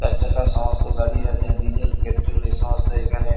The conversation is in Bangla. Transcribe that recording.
চারচাকার সমস্ত গাড়ি আছে ডিজেল পেট্রল এ সমস্ত এখানে ।